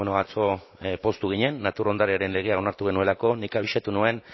atzo poztu ginen natur ondarearen legea onartu genuelako nik abisatu nuen